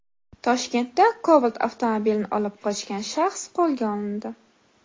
Toshkentda Cobalt avtomobilini olib qochgan shaxs qo‘lga olindi.